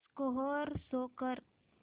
score show कर